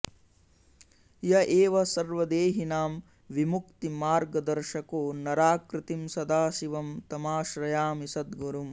य एव सर्वदेहिनां विमुक्तिमार्गदर्शको नराकृतिं सदाशिवं तमाश्रयामि सद्गुरुम्